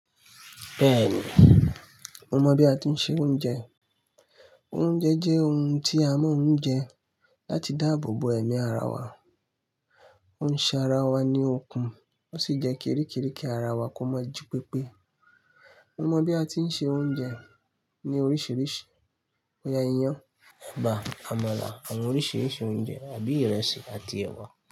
Bẹ́ẹ̀ni, mo mọ bí a ti ń se oúnjẹ. Oúnjẹ jẹ́ ohun tí a máa ń jẹ láti dáàbò bo ẹ̀mí ara wa. Ó ń ṣe ara wa ní okun, ó sì jẹ́ kérékéréke ara wa kó má jí pépé. Mo mọ bí a ti ń se oúnjẹ ní oríṣiríṣi boya iyan, ẹ̀bà, àmàlà, àwọn oríṣi oúnjẹ àbí ìrẹsì àti ẹ̀wà.